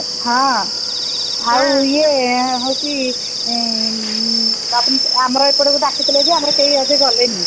ହଁ ଆଉ ଇଏ ହଉଛି ଆଁ ଆମର ଏପଟକୁ ଡ଼ାକିଥିଲେ ଯେ ଆମର କେହି ଅଧେ ଗଲେନି